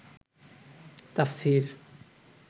তাফসীর